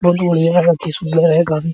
बहुत बढ़ियाँ बहुत ही सुन्दर है गम --